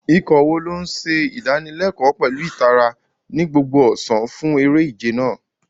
Ikọ̀ wo ló ń ṣe ìdánilẹ́kọ̀ọ́ pẹ̀lú ìtara ní gbogbo ọ̀sán fún eré-ìje náà?